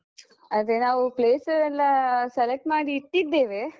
ಅದೆ ನಾವು place ಎಲ್ಲಾ select ಮಾಡಿ ಇಟ್ಟಿದ್ದೇವೆ.